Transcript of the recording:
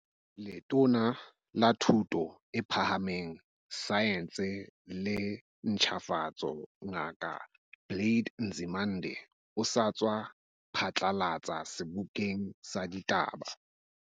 Letona la Thuto e Phahameng, Saense le Ntjhafatso, Ngaka Blade Nzimande, o sa tswa phatlalatsa sebokeng sa ditaba.